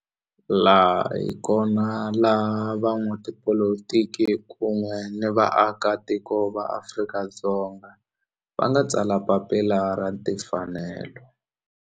Laha hi kona la van'watipolitiki kun'we ni vaaka tiko va Afrika-Dzonga va nga tsala papila ra timfanelo.